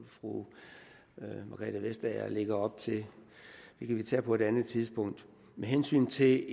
fru margrethe vestager lægger op til det kan vi tage på et andet tidspunkt med hensyn til det